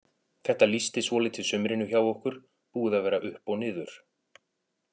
Þetta lýsti svolítið sumrinu hjá okkur, búið að vera upp og niður.